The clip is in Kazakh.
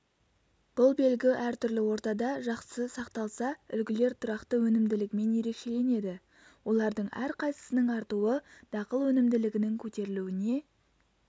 бұл белгі әртүрлі ортада жақсы сақталса үлгілер тұрақты өнімділігімен ерекшеленеді олардың әрқайсысының артуы дақыл өнімділігінің көтерілуіне